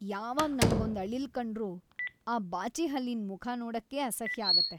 ಯಾವಾಗ್ ನಂಗೊಂದ್ ಅಳಿಲ್‌ ಕಂಡ್ರೂ ಆ ಬಾಚಿಹಲ್ಲಿನ್‌ ಮುಖ ನೋಡಕ್ಕೇ ಅಸಹ್ಯ ಆಗತ್ತೆ.